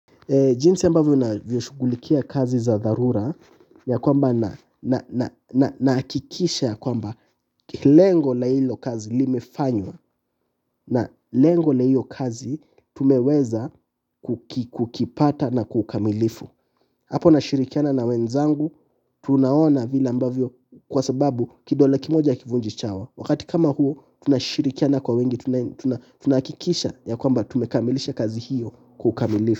Jinsi ya ambavyo naviyoshugulikia kazi za dharura, ya kwamba nahakikisha ya kwamba lengo la hilo kazi limefanywa na lengo na hilo kazi tumeweza kukipata na kwa ukamilifu. Hapo nashirikiana na wenzangu, tunaona vila ambavyo, kwa sababu kidole kimoja hakivunji chawa. Wakati kama huu, tunashirikiana kwa wengi, tunahakikisha ya kwamba tumekamilisha kazi hiyo kwa ukamilifu.